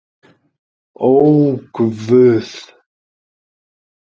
Ó, guð.